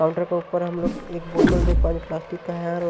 counter के ऊपर हम लोग एक बोतल देख पा रहे प्लास्टिक का है और--